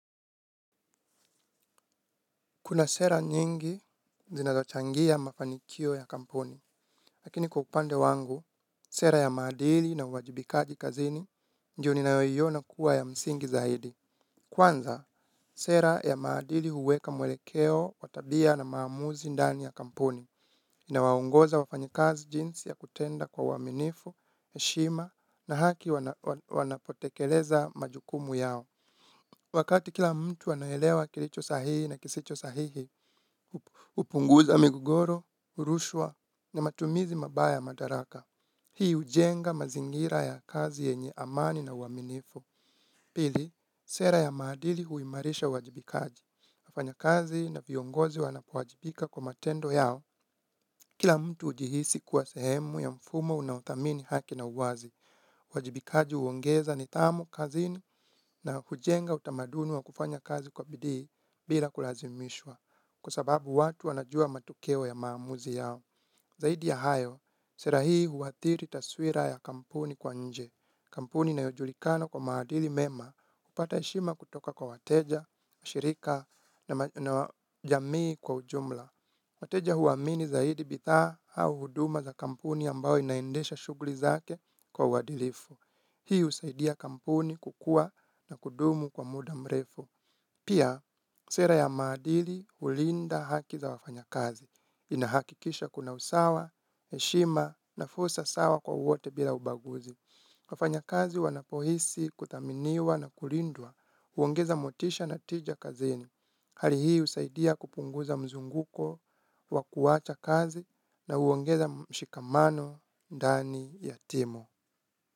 Kuna sera nyingi zinazochangia mafanikio ya kampuni, lakini kwa upande wangu, sera ya maadili na uwajibikaji kazini ndio ninayoiona kuwa ya msingi zaidi. Kwanza, sera ya maadili huweka mwelekeo, wa tabia na maamuzi ndani ya kampuni, inawa ongoza wafanyikazi jinsi ya kutenda kwa uwaminifu, heshima na haki wanapotekeleza majukumu yao. Wakati kila mtu anaelewa kilicho sahihi na kisicho sahihi, hupunguza migogoro, rushwa, na matumizi mabaya ya madaraka. Hii hujenga mazingira ya kazi yenye amani na uaminifu. Pili, sera ya maadili huimarisha uajibikaji. Wafanya kazi na viongozi wanapowajibika kwa matendo yao. Kila mtu hujihisi kuwa sehemu ya mfumo unauthamini haki na uwazi. Uwajibikaji huongeza nidhamu kazini na hujenga utamaduni wa kufanya kazi kwa bidii bila kulazimishwa. Kwa sababu watu wanajua matokeo ya maamuzi yao. Zaidi ya hayo, sera hii huathiri taswira ya kampuni kwa nje. Kampuni inayojulikana kwa maadili mema hupata heshima kutoka kwa wateja, shirika na jamii kwa ujumla. Wateja huamini zaidi bidhaa au huduma za kampuni ambayo inaendesha shughuli zake kwa uadilifu. Hii husaidia kampuni kukua na kudumu kwa muda mrefu. Pia, sera ya madili hulinda haki za wafanya kazi. Inahakikisha kuna usawa, heshima na fursa sawa kwa wote bila ubaguzi. Wafanya kazi wanapohisi, kuthaminiwa na kulindwa, huongeza motisha na tija kazeni. Hali hii husaidia kupunguza mzunguko wa kuwacha kazi na huongeza mshikamano, ndani, ya timu.